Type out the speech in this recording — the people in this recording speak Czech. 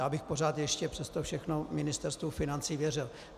Já bych pořád ještě přes to všechno Ministerstvu financí věřil.